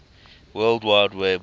world wide web